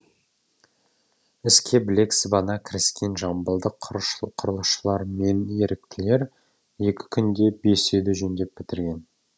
іске білек сыбана кіріскен жамбылдық құрылысшылар мен еріктілер екі күнде бес үйді жөндеп бітірген